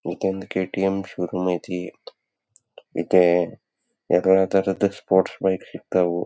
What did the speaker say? ಇದೊಂದು KTM showroom ಐತಿ ಇದೆ ಸ್ಪೋರ್ಟ್ಸ್ ಬೈಕು ಸಿಗ್ ತ್ತವು.